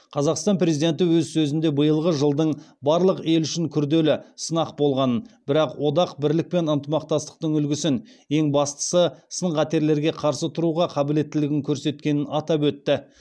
қазақстан президенті өз сөзінде биылғы жылдың барлық ел үшін күрделі сынақ болғанын бірақ одақ бірлік пен ынтымақтастықтың үлгісін ең бастысы сын қатерлерге қарсы тұруға қабілеттілігін көрсеткенін атап өтті